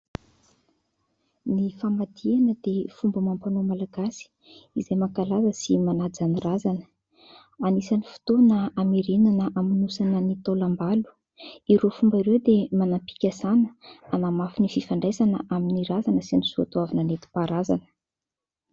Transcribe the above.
Ny famadihana dia fomba amam-panao malagasy izay mankalaza sy manaja ny razana. Anisan'ny fotoana ameranana amonosana ny taolam-balo. Ireo fomba ireo dia manam-pikasana anamafy ny fifandraisana amin'ny razana sy ny soa toavina nentim-paharazana.